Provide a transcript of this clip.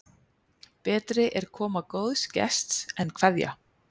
Betri er koma góðs gests en kveðja.